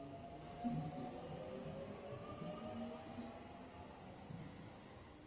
Fólk kann að orða hlutina á landsbyggðinni.